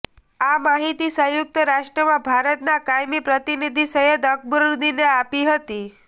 આ માહિતી સંયુક્ત રાષ્ટ્રમાં ભારતના કાયમી પ્રતિનિધિ સૈયદ અકબરુદ્દીને આપી હતી